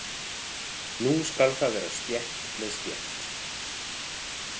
Nú skal það vera stétt með stétt!